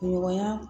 Ɲɔgɔnya